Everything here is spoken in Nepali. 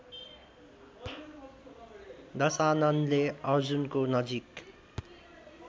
दशाननले अर्जुनको नजिक